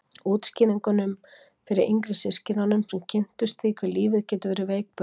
Útskýringunum fyrir yngri systkinunum sem kynntust því hve lífið getur verið veikburða.